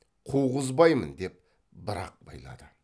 қуғызбаймын деп бір ақ байлады